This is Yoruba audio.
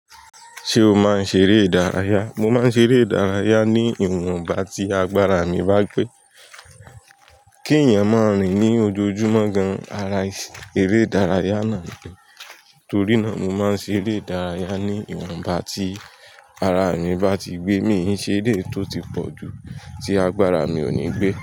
Ṣé o máa ń ṣeré ìdárayá? Mo máa ń ṣeré ìdárayá ní ìwọ̀nba tí agbára mi bá gbé. Kí èèyàn máa rìn ní ojoojúmọ́ gan-an ara eré ìdárayá náà ni, torí náà mo máa ń ṣe eré ìdárayá ní ìwọ̀nba tí ara mi bá ti gbé. Mii se eleyii tó ti pọ̀jù tí agbára mi ò ní gbé.